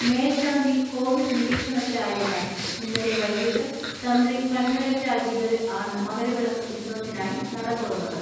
മേൽശാന്തി കോവിഡ് നിരീക്ഷണത്തിലായതിനാൽ ഇന്നലെ വൈകിട്ട് തന്ത്രി കണ്ഠരര് രാജീവര് ആണ് മകരവിളക്ക് ഉത്സവത്തിനായി നടതുറന്നത്.